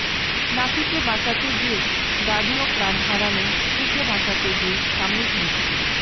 নাতিকে বাঁচাতে গিয়ে দাদিও প্রাণ হারালেন স্ত্রীকে বাঁচাতে গিয়ে স্বামীর মৃত্যু